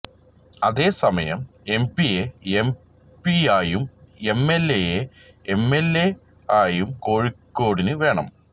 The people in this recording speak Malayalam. അതേ സമയം എം പിയെ എം പി ആയും എം എൽ എയെ എം എൽ എയായും കോഴിക്കോടിന് വേണം